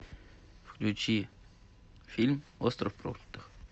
включи фильм остров проклятых